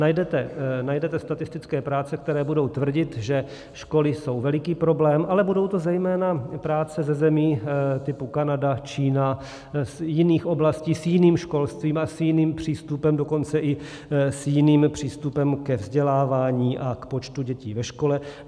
Najdete statistické práce, které budou tvrdit, že školy jsou veliký problém, ale budou to zejména práce ze zemí typu Kanada, Čína, z jiných oblastí, s jiným školstvím a s jiným přístupem, dokonce i s jiným přístupem ke vzdělávání a k počtu dětí ve škole.